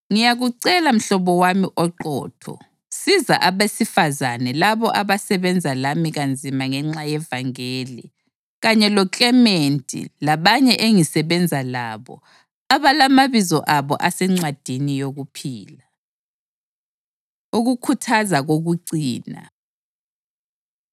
Ngiyakucela mhlobo wami oqotho, siza abesifazane labo abasebenza lami kanzima ngenxa yevangeli, kanye loKlementi labanye engisebenza labo, abalamabizo abo asencwadini yokuphila. Ukukhuthaza Kokucina